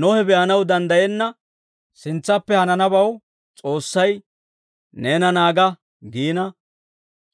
Nohe be'anaw danddayenna sintsaappe hananabaw S'oossay, «Neena naaga» giina,